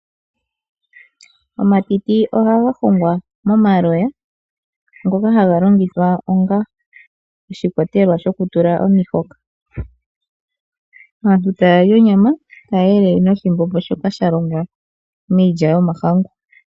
Omatiti ohaga ndulukwapo momaloya .Oha ga longithwa onga oshikwatelwa shokutula omahoka. Aantu ohaa li nduno onyama taa elele noshimbombo metiti.